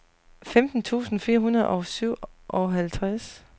femten tusind fire hundrede og syvoghalvtreds